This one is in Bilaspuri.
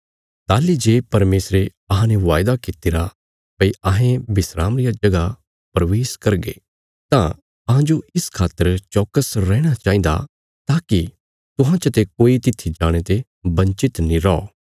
ताहली जे परमेशरे अहांने वायदा कित्तिरा भई अहें विस्राम रिया जगह प्रवेश करगे तां अहांजो इस खातर चौकस रैहणा चाहिन्दा ताकि तुहां चते कोई तित्थी जाणे ते बंचित नीं रौ